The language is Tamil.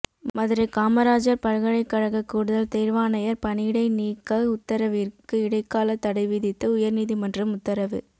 மதுரை காமராஜா் பல்கலைக்கழக கூடுதல் தோ்வாணையா் பணியிடை நீக்க உத்தரவிற்கு இடைக்கால தடை விதித்து உயா்நீதிமன்றம் உத்தரவு